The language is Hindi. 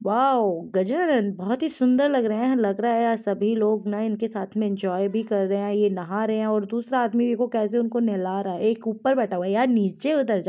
वाव गजानन बहुत ही सुंदर लग रहे है लग रहा है आज सभी लोग इनके साथ में इंजॉय भी कर रहे है। नहा रहे है और दूसरा आदमी देखो उनको केेसे नहला रहा है एक ऊपर बेेठा हुआ है यार नीचे उतर जा --